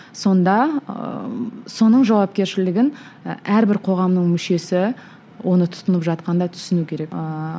сонда ыыы соның жауапкершілігін і әрбір қоғамның мүшесі оны тұтынып жатқанда түсіну керек ыыы